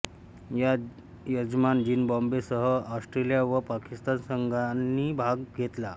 यात यजमान झिम्बाब्वेसह ऑस्ट्रेलिया व पाकिस्तान संघांनी भाग घेतला